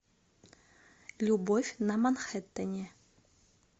любовь на манхеттене